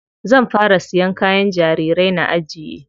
Zan fara siyan kayan jarirai na ajiye.